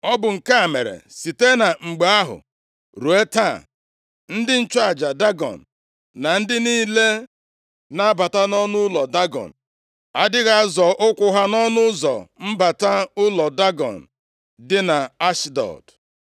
Ọ bụ nke a mere, site mgbe ahụ ruo taa, ndị nchụaja Dagọn na ndị niile na-abata nʼụlọ Dagọn, adịghị azọ ụkwụ ha nʼọnụ ụzọ mbata ụlọ Dagọn dị nʼAshdọd.